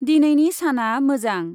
दिनैनि साना मोजां ।